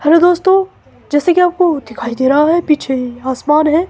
Hello दोस्तों जैसे कि आपको दिखाई दे रहा है पीछे आसमान है।